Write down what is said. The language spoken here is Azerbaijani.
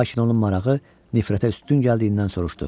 Lakin onun marağı nifrətə üstün gəldiyindən soruşdu.